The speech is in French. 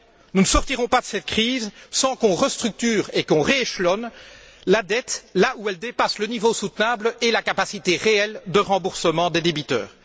Nous ne sortirons pas de cette crise sans qu'on restructure et qu'on rééchelonne la dette là où elle dépasse le niveau soutenable et la capacité réelle de remboursement des débiteurs.